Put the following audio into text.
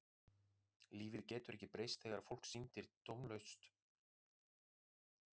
Lífið getur ekki breyst þegar fólk syndir tómlátt hring eftir hring.